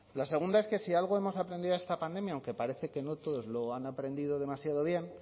la segunda es que si algo hemos aprendido de esta pandemia aunque parece que no todos lo han aprendido demasiado bien